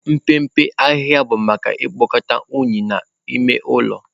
Mpempe ahịhịa bụ maka ikpokọta unyi n'ime ụlọ.